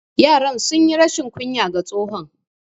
Yaran sunyi rashin kunya ga tsohon.